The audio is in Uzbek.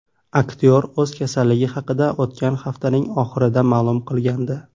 Aktyor o‘z kasalligi haqida o‘tgan haftaning oxirida ma’lum qilgandi.